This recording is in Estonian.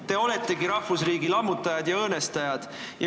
Te oletegi rahvusriigi lammutajad ja õõnestajad.